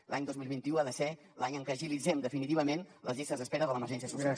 l’any dos mil vint u ha de ser l’any en què agilitzem definitivament les llistes d’espera de l’emergència social